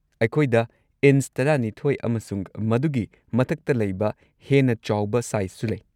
ꯑꯩꯈꯣꯏꯗ ꯢꯟꯆ ꯱꯲ ꯑꯃꯁꯨꯡ ꯃꯗꯨꯒꯤ ꯃꯊꯛꯇ ꯂꯩꯕ ꯍꯦꯟꯅ ꯆꯥꯎꯕ ꯁꯥꯏꯖꯁꯨ ꯂꯩ꯫